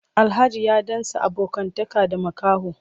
Alhaji ya ɗan sa abokantaka da makaho.